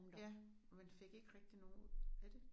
Ja men fik ikke rigtig nogen ud af det